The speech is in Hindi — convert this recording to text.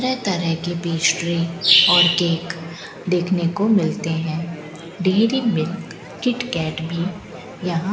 तरह तरह की पेस्ट्री और केक देखने को मिलते हैं डेयरी मिल्क किट कैट भी यहां --